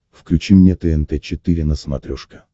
включи мне тнт четыре на смотрешке